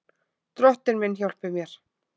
Drottinn minn hjálpi mér!